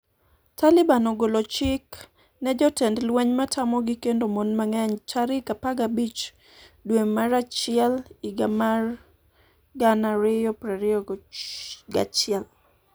Taliban ogolo chik ne jotend lweny matamogi kendo mon mang'eny tarik 15 dwe mar achiel higa mar 2021